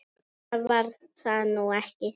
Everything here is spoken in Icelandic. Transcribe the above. Annað var það nú ekki.